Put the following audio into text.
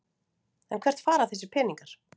En hvert fara þessir peningar?